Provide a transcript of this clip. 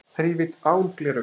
Þrívídd án gleraugna